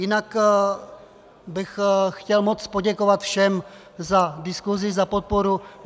Jinak bych chtěl moc poděkovat všem za diskusi, za podporu.